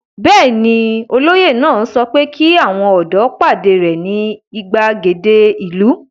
Bẹ́ẹ̀ ni, olóyè náà sọ pé kí àwọn ọ̀dọ́ pàdé rẹ̀ ní ìgbàgede ìlú.